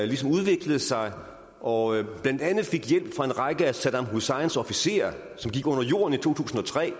ligesom udviklede sig og blandt andet fik hjælp fra en række af saddam husseins officerer som gik under jorden i to tusind og tre og